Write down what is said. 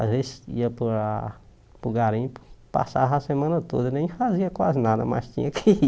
Às vezes ia para a para o garimpo, passava a semana toda, nem fazia quase nada, mas tinha que ir.